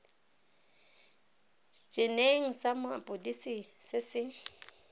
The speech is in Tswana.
eneng sa mapodisi se se